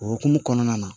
O hokumu kɔnɔna na